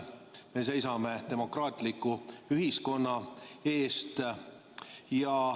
Me seisame demokraatliku ühiskonna eest.